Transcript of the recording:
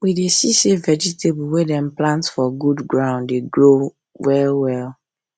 we dey see say vegetable wey dem plant for good ground dey grow well well